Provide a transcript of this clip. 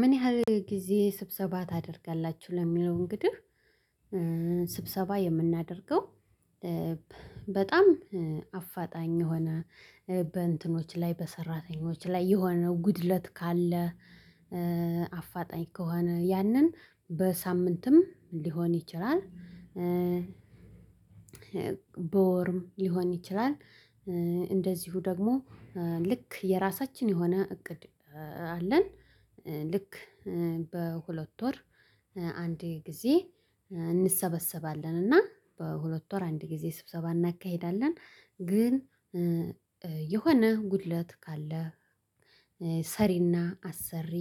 ምን ያህል ጊዜ ስብሰባ ታደርጋላችሁ ለሚለው እንግዲህ ስብሰባ የምናደርገው በጣም አፋጣኝ የሆነ በእንትኖች ላይ በሰራተኞች ላይ የሆነው ጉድለት ካለ አፋጣኝ ከሆነ ያንን በሳምንትም ሊሆን ይችላል። በወርም ሊሆን ይችላል። እንደዚሁ ደግሞ ልክ የራሳችን የሆነ እቅድ አለን። ልክ በሁለት ወር አንድ ጊዜ እንሰበሰባለን እና በሁለት ወር አንድ ጊዜ ስብሰባ እናካሂዳለን። ግን የሆነ ጉድለት ካለ ሰሪና አሰሪ